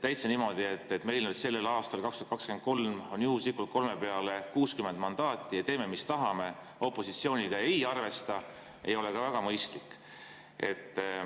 Täitsa niimoodi, et meil sellel aastal, 2023, on juhuslikult kolme peale 60 mandaati ja me teeme, mis tahame, opositsiooniga ei arvesta, ei ole ka väga mõistlik.